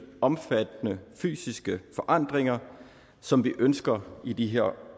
omfattende fysiske forandringer som vi ønsker i de her